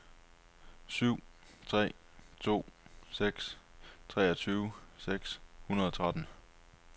syv tre to seks treogtyve seks hundrede og tretten